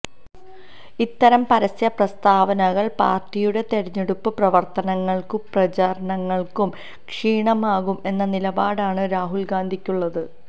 ഇത്തരം പരസ്യപ്രസ്താവനകള് പാര്ട്ടിയുടെ തിരഞ്ഞെടുപ്പ് പ്രവര്ത്തനങ്ങള്ക്കും പ്രചാരണങ്ങള്ക്കും ക്ഷീണമാകും എന്ന നിലപാടാണ് രാഹുല് ഗാന്ധിക്കുള്ളത്